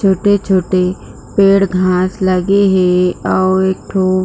छोटे-छोटे पेड़ घाँस लगे हे अऊ एकठो--